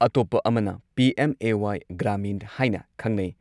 ꯑꯇꯣꯞꯄ ꯑꯃꯅ ꯄꯤ.ꯑꯦꯝ.ꯑꯦ.ꯋꯥꯏ ꯒ꯭ꯔꯥꯃꯤꯟ ꯍꯥꯏꯅ ꯈꯪꯅꯩ ꯫